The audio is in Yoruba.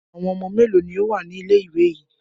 Àwọn ọmọ mélòó ni ó wà ní ilé-ìwé yìí?